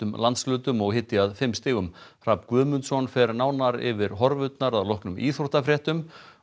landshlutum og hiti að fimm stigum Hrafn Guðmundsson veðurfræðingur fer nánar yfir horfurnar að loknum íþróttafréttum og